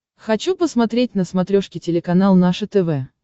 хочу посмотреть на смотрешке телеканал наше тв